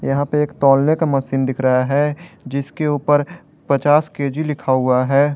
यहां पे एक तौलने का मशीन दिख रहा है जिसके ऊपर पचास के_जी लिखा हुआ है।